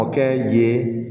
O kɛ ye